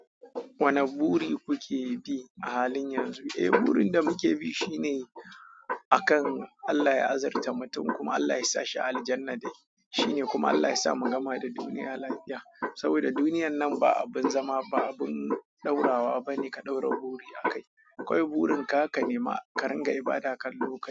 Wane buri kuke bi a halin yanzu? Eh, burin da muke bi shine akan Allah ya azurta mutum kuma Allah yasa shi a aljannah dai shine kuma Allah yasa mu gama da duniya lafiya. Saboda duniyar nan ba abin zama ba abin ɗaurawa bane ka ɗaura buri a kai. Akwai burin ka, ka nema, ka rinƙa ibada kan lokaci.